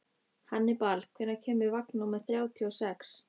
Hannibal, hvenær kemur vagn númer þrjátíu og sex?